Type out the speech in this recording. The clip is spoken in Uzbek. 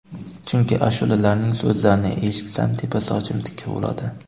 Chunki ashulalarining so‘zlarini eshitsam, tepa sochim tikka bo‘ladi.